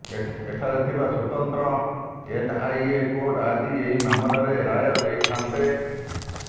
ଏଠାରେ ଥିବା ସ୍ୱତନ୍ତ୍ର ଏନ୍ଆଇଏ କୋର୍ଟ ଆଜି ଏହି ମାମଲାରେ ରାୟ ଦେଇଥାଆନ୍ତେ